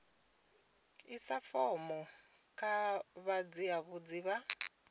isa fomo kha vhatsivhudzi vha